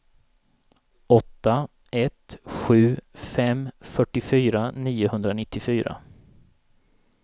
åtta ett sju fem fyrtiofyra niohundranittiofyra